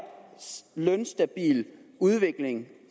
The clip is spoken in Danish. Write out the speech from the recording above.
lønstabile udvikling